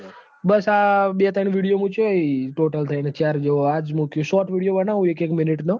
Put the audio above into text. બસ આ બે ત્રણ video મુચાહી total થઇ ન ચાર જેવો આજ મુકીસ shortvideo બનવું હું એક એક minute નો